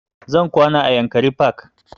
Zan kwana a yankari park